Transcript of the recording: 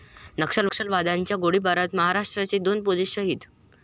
नक्षलवाद्यांच्या गोळीबारात महाराष्ट्राचे दोन पोलीस शहीद